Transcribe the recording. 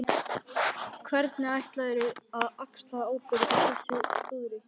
Hvernig ætlarðu að axla ábyrgð á þessu klúðri?